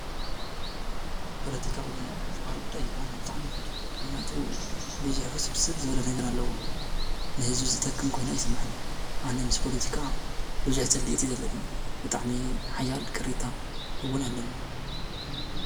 ፖለቲካዊ ዝበሃል ጉዳይ አነ ብጣዕሚ አይፈትዎን። ምክንያቱ ብዙሕ ዉስብስብ ዝበለ ነገር አለዎ። ንህዝቢ ዝጠቅም ኮይኑ አይስመዐንን። አነ ምስ ፖለቲካ ብዙሕ ፅሊኢት እዩ ዘለኒ። ብጣዕሚ ሓያል ቅሬታ እዉን አለኒ።